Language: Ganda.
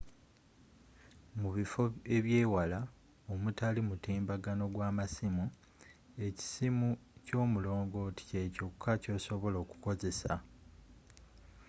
mu bifo ebyeewala omutali mutimbagano gwa masimu ekisimu kyomulongooti kye kyokka kyosobola okukozesa